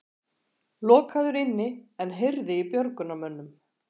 Lokaður inni en heyrði í björgunarmönnum